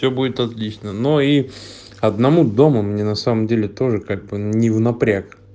все будет отлично но и одному дома мне на самом деле тоже как бы не в напряг